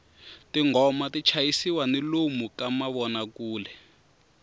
tinghoma ti chayisiwa ni lomu ka mavonakule